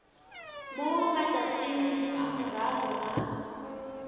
mo matšatšing a morago ga